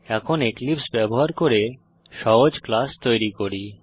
এখন এক্লিপসে ব্যবহার করে সহজ ক্লাস তৈরী করি